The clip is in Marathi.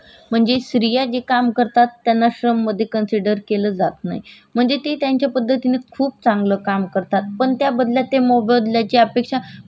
पण त्याबद्दल ते मोबदल्याची अपेक्षा म्हणजे स्त्रिया स्वतःच मोबदल्याची अपेक्षा करत नाही त्यामुळे ह्या कामाला मध्ये कन्सिडर केलं जात नाही त्याच्यानंतर त्यामुळे त्या कमल श्र श्रममध्ये कन्सिडर केलं जात नाही